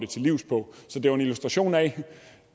til livs på så det var en illustration af